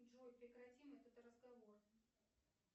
джой прекратим этот разговор